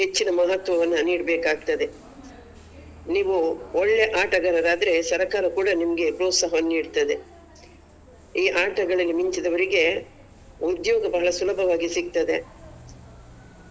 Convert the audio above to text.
ಮಹತ್ವವನ್ನ ನೀಡ್ಬೇಕಾಗ್ತದೆ ನೀವು ಒಳ್ಳೆ ಆಟಗಾರರಾದ್ರೆ ಸರಕಾರ ಕೂಡ ನಿಮ್ಗೆ ಪ್ರೋತ್ಸಾಹವನ್ನ ನೀಡ್ತದೆ ಈ ಆಟಗಳಲ್ಲಿ ಮಿಂಚಿದವರಿಗೆ ಉದ್ಯೋಗಗಳು ಸುಲಭವಾಗಿ ಸಿಗ್ತದೆ.